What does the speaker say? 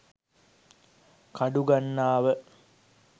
kadugannawa